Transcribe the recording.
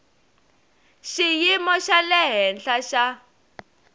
xiyimo xa le henhla xa